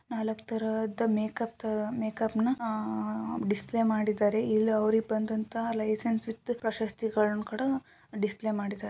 ನಾಲಕ್ ತರದ ಮೇಕ್ಅಪ್ ತರ ಮೇಕ್ಅಪ್ ನ ಅಹ್ ಡಿಸ್ಪ್ಲೇ ಮಾಡಿದ್ದಾರೆ. ಇಲ್ಲಿ ಅವ್ರಿಗೆ ಬಂದಂತಹ ಲೈಸನ್ಸ್ ವಿಥ್ ಪ್ರಶಸ್ತಿಗಳನ್ನು ಕೂಡ ಡಿಸ್ಪ್ಲೇ ಮಾಡಿದ್ದಾರೆ.